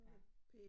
Ja